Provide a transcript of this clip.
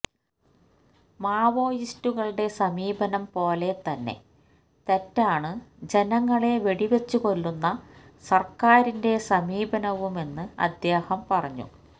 മാവോയിസ്റ്റുകളുടെ സമീപനം പോലെ തന്നെ തെറ്റാണ് ജനങ്ങളെ വെടിവച്ചു കൊല്ലുന്ന സർക്കാരിന്റെ സമീപനവുമെന്ന് അദ്ദേഹം പറഞ്ഞു